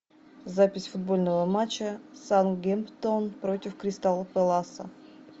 запись футбольного матча саутгемптон против кристал пэласа